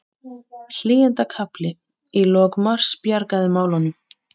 Hlýindakafli í lok mars bjargaði málunum